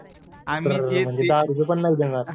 अर म्हणजे दहा रुपये पण नाही देणार.